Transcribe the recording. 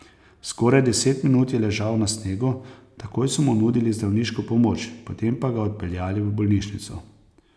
Skoraj deset minut je ležal na snegu, takoj so mu nudili zdravniško pomoč, potem pa ga odpeljali v bolnišnico.